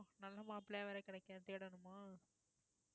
நல்ல மாப்பிள்ளையா வேற கிடைக்கணும் தேடணுமா